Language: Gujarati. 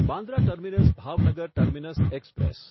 Bandra terminus Bhavnagar terminus express